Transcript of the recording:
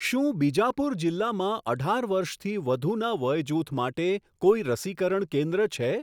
શું બીજાપુર જિલ્લામાં અઢાર વર્ષથી વધુના વયજૂથ માટે કોઈ રસીકરણ કેન્દ્ર છે?